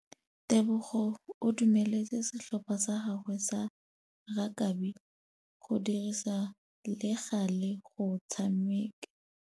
Tebogô o dumeletse setlhopha sa gagwe sa rakabi go dirisa le galê go tshameka.